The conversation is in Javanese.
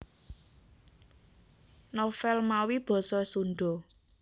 Novel mawi basa Sunda